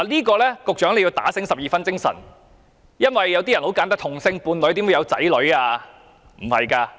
局長必須打醒十二分精神，因為有人會問，同性伴侶怎會有子女呢？